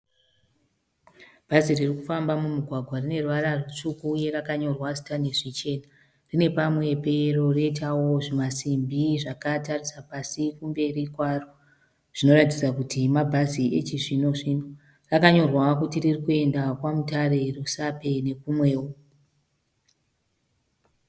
Bhazi riri kufamba mumugwagwa rine ruvara rutsvuku uye ranyorwa zita nezvichena . Rine pamwe peyero roitawo zvimasimbi zvakatarisa pasi kumberi kwaro zvinoratidza kuti mabhazi echizvino zvino . Rakanyorwa kuti riri kuenda kwaMutare , Rusape nekumwewo.